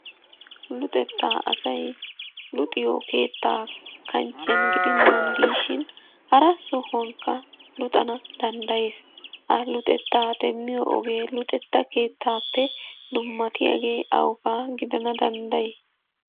Luxetta asay luxiyo keetta kanchchiyan gidennan diishin hara sohuwankka luxana danddayees. Ha luxetta demmiyo oggee luxetta keettappe dummatiyaage awugaa gidana dandday?